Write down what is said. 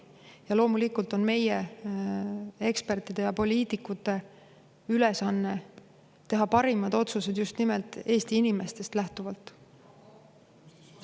Ja loomulikult on meie ekspertide ja poliitikute ülesanne teha parimad otsused just nimelt Eesti inimestest lähtuvalt.